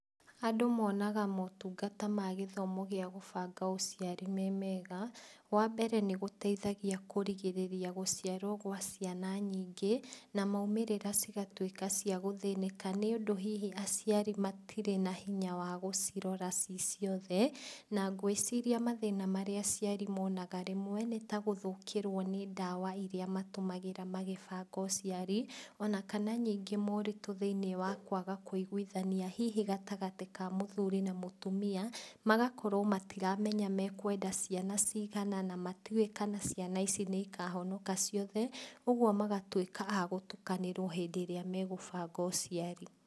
Andũ monaga motungata ma gĩthomo gĩa gũbanga ũciari me mega. Wa mbere, nĩgũteithagia kũrigĩrĩria gũciarwo gwa ciana nyingĩ na maumĩrĩra cigatuĩka cia gũthĩnĩka nĩ ũndũ hihi aciari matirĩ na hinya wa gũcirora ci ciothe na ngwĩciria mathĩna marĩa aciari monaga rĩmwe nĩ ta gũthũkĩrwo nĩ ndawa iria matũmagĩra magĩbanga ũciari o na kana ningĩ moritũ thĩiniĩ wa kũaga kũiguithania hihi gatagatĩ ka mũthuri na mũtumia, magakorwo matiramenya mekwenda ciana cigana na matiuĩ kana ciana ici nĩikahonoka ciothe. Ũguo magatũĩka a gũtukanĩrwo hĩndĩ ĩrĩa megũbanga ũciari.